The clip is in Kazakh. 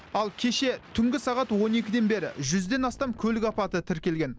ал кеше түнгі сағат он екіден бері жүзден астам көлік апаты тіркелген